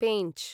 पेंच्